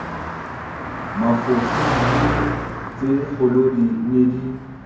mafose dibini tsekgolodi ne di